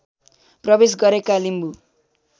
प्रवेश गरेका लिम्बू